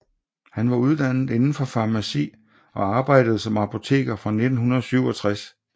Han var uddannet inden for farmaci og arbejdede som apoteker fra 1967